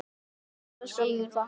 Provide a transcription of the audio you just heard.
Fyrir þetta skal nú þakkað.